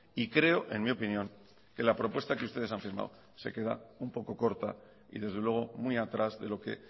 y creo en mi opinión que la propuesta que ustedes han firmado se queda un poco corta y desde luego muy atrás de lo que